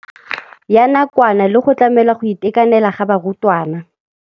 Ya nakwana le go tlamela go itekanela ga barutwana.